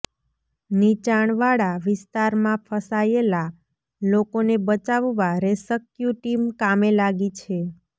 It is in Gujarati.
નિચાણવાળા વિસ્તારમાં ફસાયેલા લોકોને બચાવવા રેસક્યુ ટીમ કામે લાગી છે